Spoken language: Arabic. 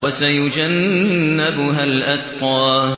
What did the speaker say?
وَسَيُجَنَّبُهَا الْأَتْقَى